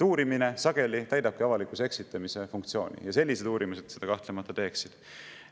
Uurimine sageli täidabki avalikkuse eksitamise funktsiooni ja sellised uurimised seda kahtlemata teeksid.